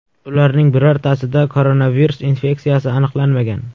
Ularning birortasida koronavirus infeksiyasi aniqlanmagan.